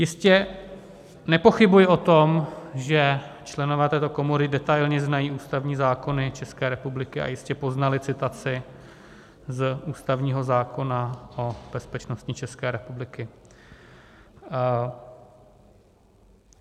Jistě, nepochybuji o tom, že členové této komory detailně znají ústavní zákony České republiky a jistě poznali citaci z ústavního zákona o bezpečnosti České republiky.